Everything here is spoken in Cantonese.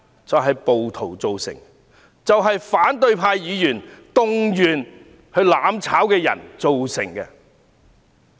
就是暴徒，以及反對派議員動員"攬炒"的人造成的。